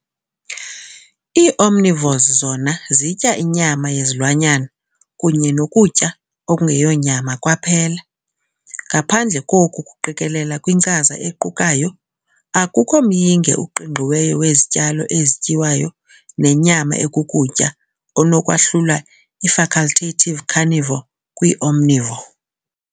Ii-Omnivores zona zitya inyama yezilwanyana kunye nokutya okungeyonyama kwaphela, ngaphandle koku kuqikelela kwinkcaza equkayo, akukho myinge uqingqiweyo wezityalo ezityiwayo nenyama ekukutya onokwahlula ii- facultative carnivore kwii-omnivore.